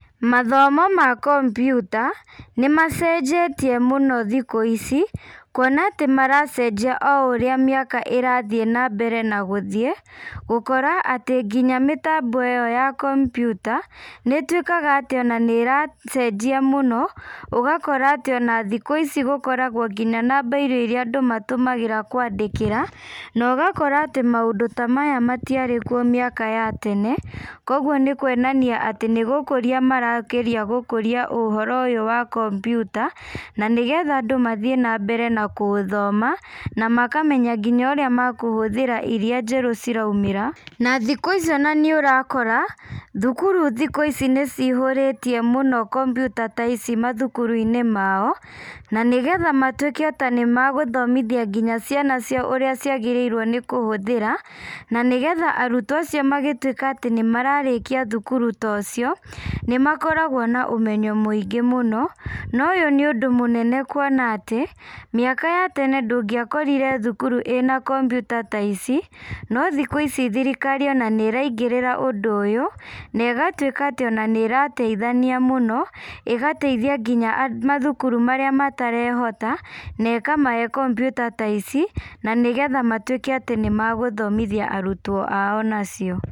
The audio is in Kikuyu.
Mathomo ma kombyuta, nĩmacenjetie mũno thikũ ici, kuona atĩ maracenjia o ũrĩa mĩaka ĩrathiĩ nambere na gũthiĩ, gũkora atĩ nginya mĩtambo ĩyo ya kombyuta, nĩituĩkaga atĩ ona nĩracenjia mũno, ũgakora atĩ ona thikũ ici gũkoragwo nginya na mbairũ iria andũ matũmagĩra kwandĩkĩra, na ũgakora atĩ maũndũ ta maya matiarĩ kuo mĩaka ya tene, koguo nĩkuonania atĩ nĩgũkũria marageria gũkũria ũhoro ũyũ wa kombyuta, na nĩgetha andũ mathiĩ nambere na gũthoma, na makamenya nginya ũrĩa makuhũthĩra iria njerũ ciraumĩra, na thikũ ici ona nĩũrakora, thukuru thikũ ici nĩcihũrĩtie mũno kombyuta ta ici mathukuruinĩ mao, na nĩgetha matuĩke atĩ nĩmagũthomithia nginya ciana ciao ũrĩa ciagĩrĩirwo nĩkũhũthĩra, na nĩgetha arutwo acio magĩtuĩka atĩ nĩmararĩkia thukuru ta ũcio, nĩmakoragwo na ũmenyo mũingĩ mũno, na ũyũ nĩ ũndũ mũnene kuona atĩ, mĩaka ya tene ndũngĩakorire thukuru ĩna kombyuta ta ici, no thikũ ici thirikari ona nĩraingĩrĩra ũndũ ũyũ, na ĩgatuĩka ata ona nĩrateithania mũno, ĩgateithia nginya a mathukuru marĩa matarehota, na ĩkamahe kombyuta ta ici, na nĩgetha matuĩke atĩ nĩmagũthomithia arutwo ao nacio.